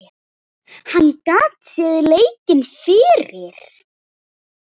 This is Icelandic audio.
Hann gat séð leikinn fyrir.